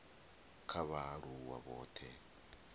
kha vhaaluwa vhothe kha la